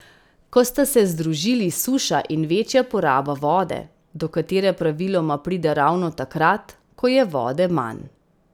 Ko sta se združili suša in večja poraba vode, do katere praviloma pride ravno takrat, ko je vode manj.